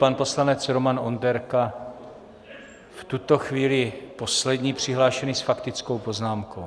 Pan poslanec Roman Onderka, v tuto chvíli poslední přihlášený s faktickou poznámkou.